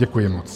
Děkuji moc.